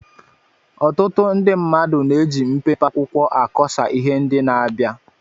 Ọtụtụ ndị mmadụ na-eji mpempe akwụkwọ akọsa ihe ndị na-abịa